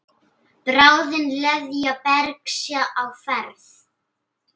Bráðin leðja bergs á ferð.